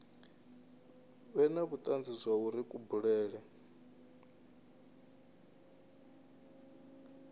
vhe na vhutanzi zwauri kubulele